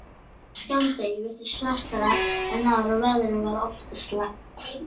Skammdegið virtist svartara en áður og veðrið var oft slæmt.